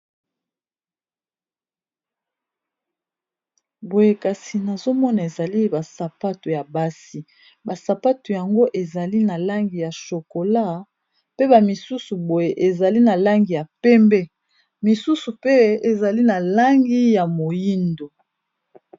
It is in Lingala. Boye kasi nazomona ezali ba sapato ya basi ba sapato yango ezali na langi ya shokola pe ba misusu boye ezali na langi ya pembe misusu pe ezali na langi ya moyindo.